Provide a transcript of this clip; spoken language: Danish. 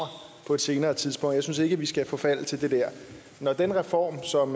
på et senere tidspunkt jeg synes ikke at vi skal forfalde til det der når den reform som